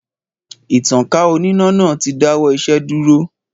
Ìtankà oníná náà ti dáwọ́ isẹ́ dúró.